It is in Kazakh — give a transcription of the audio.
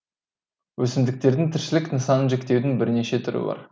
өсімдіктердің тіршілік нысанын жіктеудің бірнеше түрі бар